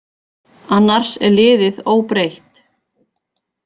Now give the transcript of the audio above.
Annars er liðið óbreytt.